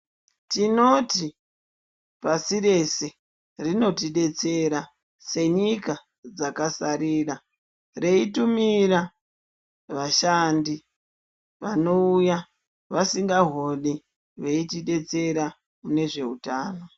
Tinoti pasi rese rinotidetsera senyika dzakasarira reitumira vashandi vanouya vasingahori veitidetsera munezveutano.